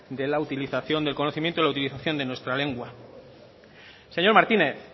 del conocimiento y la utilización de nuestra lengua señor martínez